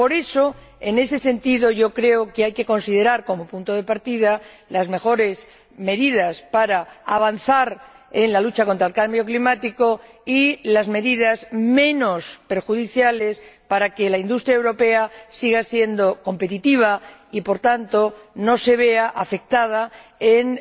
Por eso, en ese sentido, yo creo que hay que considerar, como punto de partida, las mejores medidas para avanzar en la lucha contra el cambio climático y las medidas menos perjudiciales para que la industria europea siga siendo competitiva y, por tanto, no se vea afectada por un